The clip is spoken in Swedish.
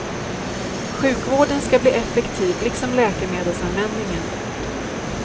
Sjukvården ska bli effektiv liksom läkemedelsanvändningen.